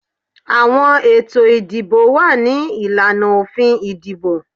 Àwọn etọ̀ ìdíbò wá ní ìláná ofín ìdíbò